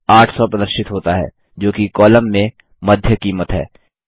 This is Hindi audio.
उत्तर 800 प्रदर्शित होता है जोकि कॉलम में मध्य कीमत है